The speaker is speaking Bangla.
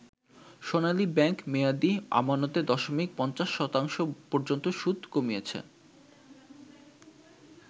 সোনালী ব্যাংক মেয়াদী আমানতে দশমিক ৫০ শতাংশ পর্যন্ত সুদ কমিয়েছে।